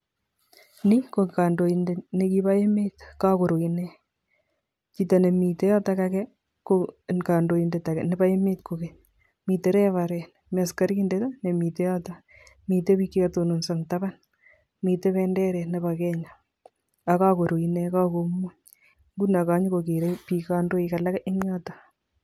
Ni ko kandoindet nekibo emet kakuru ine, chito ne mite yoto ake ko kandoindet ake nebo emet kokeny. Mite reverend, mi askarindet ne mito yoto, mite biik che katononso eng taban, miten benderet nebo Kenya, akakuru inen kakumuny, nguno kanyo ko kere biik kandoik alak en yoto.